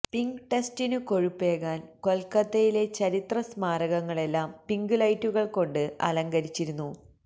pink ടെസ്റ്റിനു കൊഴുപ്പേകാന് കൊല്ക്കത്തയിലെ ചരിത്ര സ്മാരകങ്ങളെല്ലാം പിങ്ക് ലൈറ്റുകള് കൊണ്ട് അലങ്കരിച്ചിരുന്നു